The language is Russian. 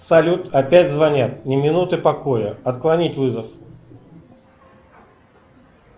салют опять звонят ни минуты покоя отклонить вызов